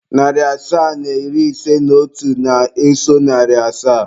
Narị asaa na iri ise na otu na-eso narị asaa.